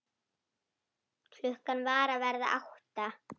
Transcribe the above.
Klukkan var að verða átta.